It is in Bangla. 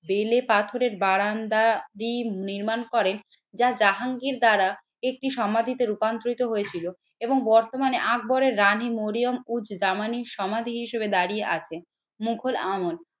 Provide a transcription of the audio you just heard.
বেলে পাথরের বারান্দাটি নির্মাণ করেন। যা জাহাঙ্গীর দ্বারা একটি সমাধিতে রূপান্তরিত হয়েছিল এবং বর্তমানে আকবরের রানী মরিয়ম উজ জামানির সমাধি হিসেবে দাঁড়িয়ে আছে মুঘল আমল।